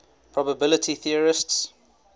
probability theorists